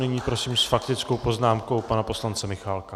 Nyní prosím s faktickou poznámkou pana poslance Michálka.